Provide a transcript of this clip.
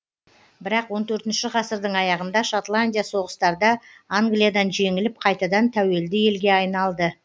бірақ он төртінші ғасырдың аяғында шотландия соғыстарда англиядан жеңіліп қайтадан тәуелді елге айналды